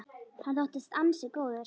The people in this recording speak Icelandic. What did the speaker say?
Hann þóttist ansi góður.